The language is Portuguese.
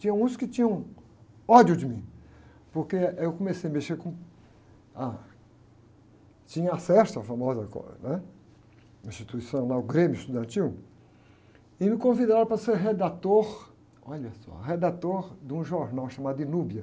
Tinha uns que tinham ódio de mim, porque eu comecei a mexer com... Ah, tinha acesso à famosa co, né? Instituição lá, o Grêmio Estudantil, e me convidaram para ser redator, olha só, redator de um jornal chamado.